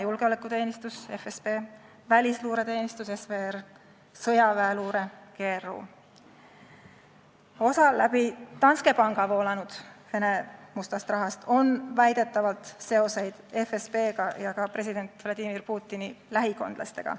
Osal läbi Danske panga voolanud Vene mustast rahast on väidetavalt seoseid FSB-ga ja ka president Vladimir Putini lähikondlastega.